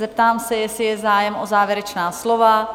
Zeptám se, jestli je zájem o závěrečná slova?